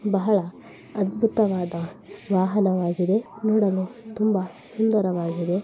ಬಹಳ ಅದ್ಭುತವಾದ ವಾಹನವಾಗಿದೆ ನೋಡಲು ತುಂಬಾ ಸುಂದರವಾಗಿದೆ.